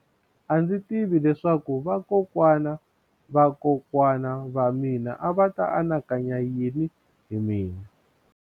A ndzi tivi leswaku vakokwana-va-vakokwana va mina a va ta anakanya yini hi mina.